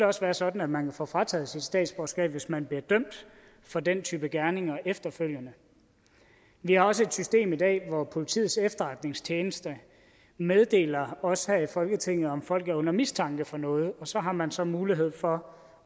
også være sådan at man kan få frataget sit statsborgerskab hvis man bliver dømt for den type gerninger efterfølgende vi har også et system i dag hvor politiets efterretningstjeneste meddeler os her i folketinget om folk er under mistanke for noget og så har man så mulighed for